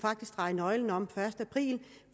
dreje nøglen om første april